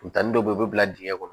Funteni dɔ be yen u be bila dingɛ kɔnɔ